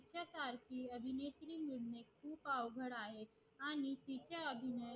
खूप अवघड आहे आणि तिचा अभिनय